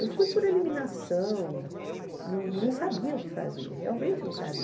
Eu fui por eliminação, não não sabia o que fazer, realmente não sabia.